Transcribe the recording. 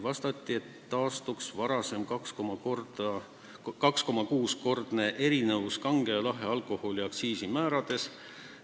Vastati, et taastuks varasem 2,6-kordne erinevus kange ja lahja alkoholi aktsiisi määrades.